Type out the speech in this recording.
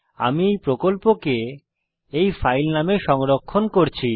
আমি এই প্রকল্পকে এই Dubbed into Hindi ফাইল নামে সংরক্ষণ করছি